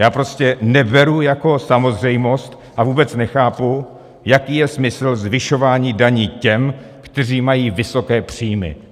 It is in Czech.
Já prostě neberu jako samozřejmost, a vůbec nechápu, jaký je smysl zvyšování daní těm, kteří mají vysoké příjmy.